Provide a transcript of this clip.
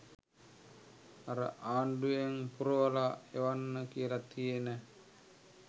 අර ආණ්ඩුවෙන් පුරවල එවන්න කියල තියෙන